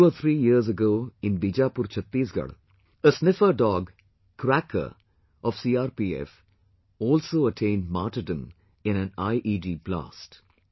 Two or three years ago in Bijapur Chattisgarh, a sniffer dog Cracker of CRPF also attained martyrdom in an IED blast